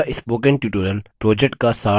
यह spoken tutorial project का सार देता है